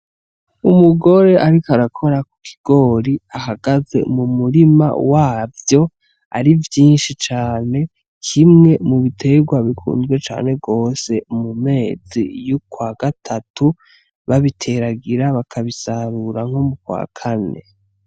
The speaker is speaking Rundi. Umugore ariko arakora ku kigori ahagaze mu murima wavyo ari vyinshi cane, kimwe mu biterwa bikunzwe cane gose mu mezi y'ukwagatatu babiteragira bakabisarura nko mu kwakane.